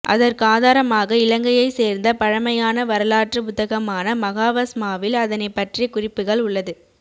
அதற்கு ஆதாரமாக இலங்கையை சேர்ந்த பழமையான வரலாற்று புத்தகமான மகாவஸ்மாவில் அதனை பற்றிய குறிப்புகள் உள்ளது